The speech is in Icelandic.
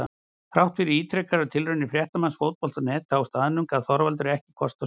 Þrátt fyrir ítrekaðar tilraunir fréttamanns Fótbolta.net á staðnum gaf Þorvaldur ekki kost á sér.